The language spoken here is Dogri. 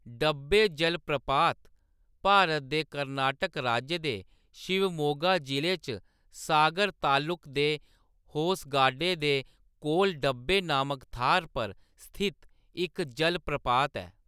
डब्बे जलप्रपात भारत दे कर्नाटक राज्य दे शिवमोगा जिले च सागर तालुक दे होसगाडे दे कोल डब्बे नामक थाह्‌‌‌र पर स्थित इक जलप्रपात ऐ।